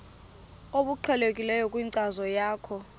obuqhelekileyo kwinkcazo yakho